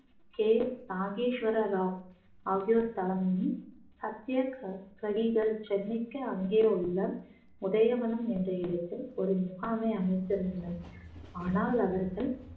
K Nageswara Rao ஆகியோர் தலைமையில் சத்தியகிரகிகள் சென்னைக்கு அங்கே உள்ள உதயவனம் என்ற இடத்தில் ஒரு முகாமை அமைத்திருந்தனர் ஆனால் அவர்கள்